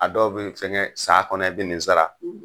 A dɔw bɛ fɛnkɛ san kɔnɔ i bi nin sara.